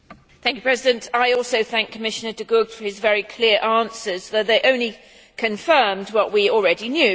Mr President, I also thank Commissioner De Gucht for his very clear answers, though they only confirmed what we already knew.